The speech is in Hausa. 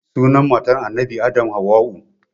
Sunan matar annabi adam hauwa'u